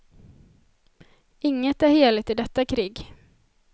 Inget är heligt i detta krig.